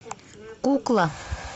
кукла